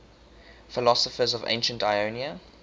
philosophers of ancient ionia